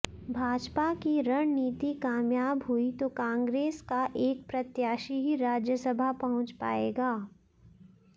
भाजपा की रणनीति कामयाब हुई तो कांग्रेस का एक प्रत्याशी ही राज्यसभा पहुंच पाएगा